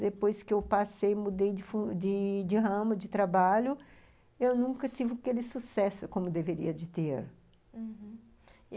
Depois que eu passei, mudei de funç de de ramo de trabalho, eu nunca tive aquele sucesso como deveria de ter, uhum, e